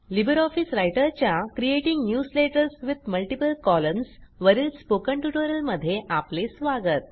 Libre office रायटरच्या creating newsletters with multiple columns वरील spoken ट्युटोरियलमध्ये आपले स्वागत